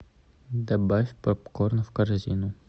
добавь попкорн в корзину